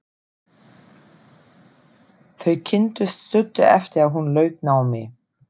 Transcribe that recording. Þau kynntust stuttu eftir að hún lauk námi.